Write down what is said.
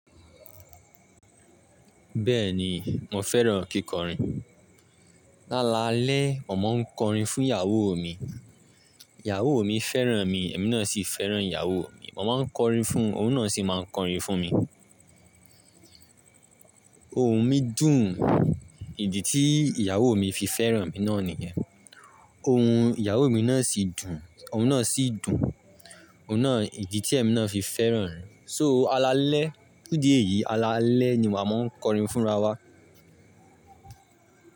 Bẹ́ẹ̀ni, mo fẹ́ràn kíkọrin. Lálalẹ́, mo máa ń kọrin fún ìyàwó mi. Ìyàwó mi fẹ́ràn mi, èmi náà sì fẹ́ràn ìyàwó mi. Mo máa ń kọrin fún un, òun náà sì máa ń kọrin fún mi. Ohun mi dùn, ìdí tí ìyàwó mi fi fẹ́ràn mi náà nìyẹn. Ohun ìyàwó mi náà sì dùn, òun náà sì dùn, òun náà, ìdí tí èmi náà fi fẹ́ràn rẹ̀. So alalẹ́, fun idì eyì, alalẹ́ ni màá máa ń kọrin fúnra wá.